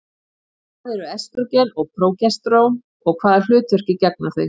Hvað eru estrógen og prógesterón og hvaða hlutverki gegna þau?